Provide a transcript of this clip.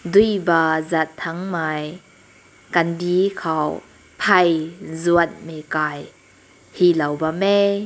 deui bam zan tang mai kanti kaw hai zun ti kai he lao bam hae.